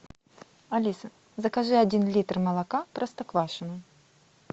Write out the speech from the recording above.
алиса закажи один литр молока простоквашино